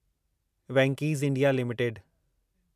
Venky's India limited